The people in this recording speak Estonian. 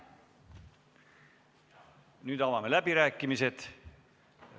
Nüüd avame läbirääkimised.